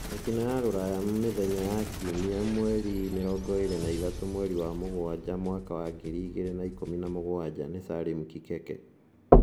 Mĩtino ya Rũraya Mĩthenya ya Kiumia 23.07.2017 nĩ Salim Kikeke